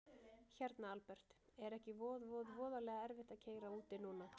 Hérna Albert, er ekki voð voð voðalega erfitt að keyra úti núna?